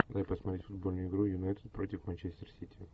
дай посмотреть футбольную игру юнайтед против манчестер сити